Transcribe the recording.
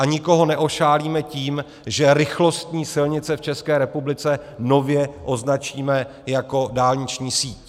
A nikoho neošálíme tím, že rychlostní silnice v České republice nově označíme jako dálniční síť.